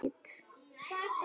Hún var ónýt.